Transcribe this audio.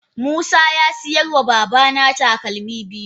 Musa ya sayar wa babana takalmi biyu.